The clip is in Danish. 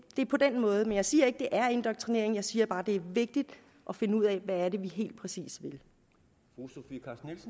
er på den måde det jeg siger ikke det er indoktrinering men jeg siger bare det er vigtigt at finde ud af hvad det helt præcis